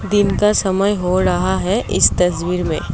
दिन का समय हो रहा है इस तस्वीर में।